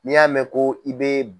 N'i y'a mɛn ko i bɛ